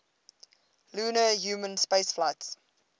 lunar human spaceflights